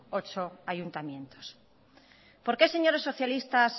ocho ayuntamientos por qué señores socialistas